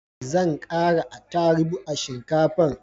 Zan kara atarubu a shinkafan